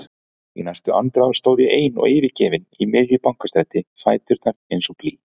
Í næstu andrá stóð ég ein og yfirgefin í miðju Bankastræti, fæturnir eins og blý.